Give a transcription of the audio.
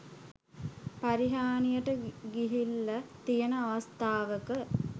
පරිහානියට ගිහිල්ල තියන අවස්ථාවක